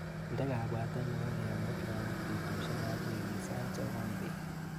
Inde kabwatet nebo kemut lagok betushekap wikit sait sokol bet.